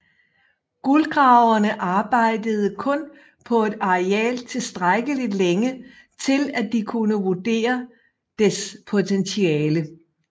Guldgraverne arbejdede kun på et areal tilstrækkeligt længe til at de kunne vurdere dets potentiale